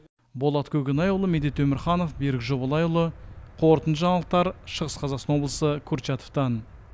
болат көкенайұлы медет өмірханов берік жобалайұлы қорытынды жаңалықтар шығыс қазақстан облысы курчатовтан